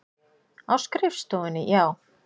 Á skrifstofunni, já.